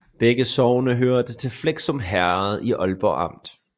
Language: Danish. Begge sogne hørte til Fleskum Herred i Ålborg Amt